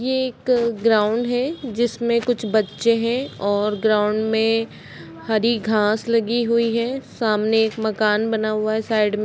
ये एक अ ग्राउंड है। जिसमें कुछ बच्चे हैं और ग्राउंड में हरी घास लगी हुई है। सामने एक मकान बना हुआ है साइड में--